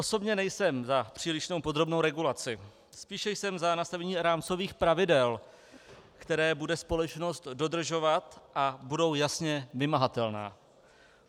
Osobně nejsem za přílišnou podrobnou regulaci, spíše jsem za nastavení rámcových pravidel, která bude společnost dodržovat a budou jasně vymahatelná.